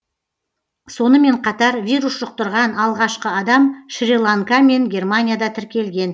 сонымен қатар вирус жұқтырған алғашқы адам шри ланка мен германияда тіркелген